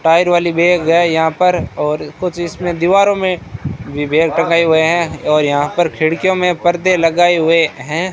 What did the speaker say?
Tyre वाले भैया गए यहां पर और कुछ इसमें दीवारों में हुए हैं और यहां पर खिड़कियों में पर्दे लगाए हुए हैं।